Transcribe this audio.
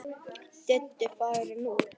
Diddi farinn út.